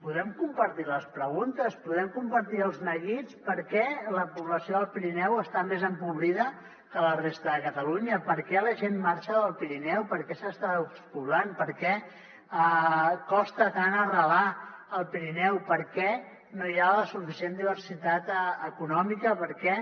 podem compartir les preguntes podem compartir els neguits per què la població del pirineu està més empobrida que la resta de catalunya per què la gent marxa del pirineu per què s’està despoblant per què costa tant arrelar al pirineu per què no hi ha la suficient diversitat econòmica per què